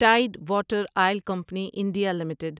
tied Water Oil Company India limited